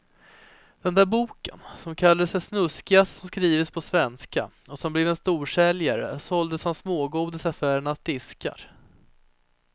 Den där boken som kallades det snuskigaste som skrivits på svenska och som blev en storsäljare och såldes som smågodis i affärernas diskar.